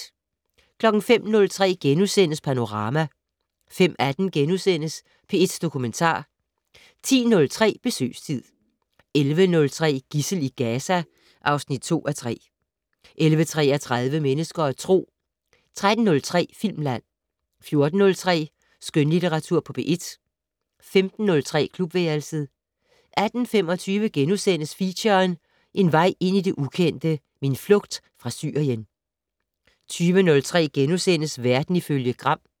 05:03: Panorama * 05:18: P1 Dokumentar * 10:03: Besøgstid 11:03: Gidsel i Gaza (2:3) 11:33: Mennesker og Tro 13:03: Filmland 14:03: Skønlitteratur på P1 15:03: Klubværelset 18:25: Feature: En vej ind i det ukendte - min flugt fra Syrien * 20:03: Verden ifølge Gram *